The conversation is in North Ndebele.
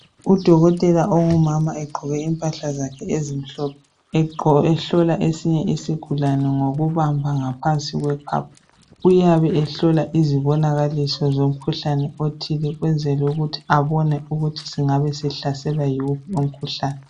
Udokotela ongumama egqoke impahla zakhe ezimhlophe ehlola esinye isigulane ngokubamba ngaphansi kwe khwapha. Uyabe elalela izibonakaliso zomkhuhlane othile ukwenzela ukuthi abone ukuthi engabe sehlaselwa yiwuphi umkhuhlane